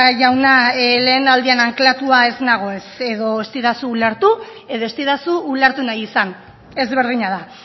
jauna lehenaldian anklatua ez nago ez edo ez didazu ulertu edo ez didazu ulertu nahi izan ezberdina da